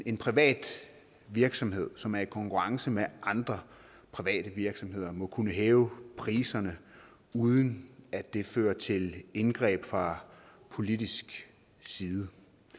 en privat virksomhed som er i konkurrence med andre private virksomheder må kunne hæve priserne uden at det fører til indgreb fra politisk side